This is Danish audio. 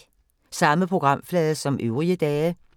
Samme programflade som øvrige dage